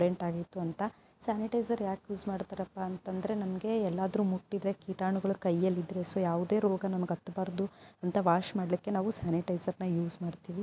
ಚೆನ್ನಾಗಿತ್ತು ಅಂತ ಸ್ಯಾನಿಟೈಸರ್ ಯಾಕೆ ಯೂಸ್ ಮಾಡ್ತಾ ರಪ್ಪ ಅಂತ ಅಂದರೆ ನಮಗೆ ಎಲ್ಲಾದರೂ ಮುಟ್ಟಿದ್ರೆ ಕೀಟಾಣುಗಳು ಕೈಯಲ್ಲಿ ಸೋ ಯಾವುದೇ ರೋಗ ನಮಗೆ ಅತ್ತಬಾರದು ಅಂತ ವಾಶ್ ಮಾಡಲಿಕ್ಕೆ ನಾವು ಸ್ಯಾನಿಟೈಸರ್ ನ ಯೂಸ್ ಮಾಡ್ತೀವಿ.